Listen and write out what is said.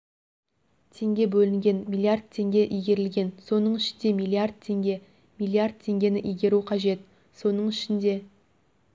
теңге бөлінген миллиард теңге игерілген соның ішінде миллиард теңге миллиард теңгені игеру қажет соның ішінде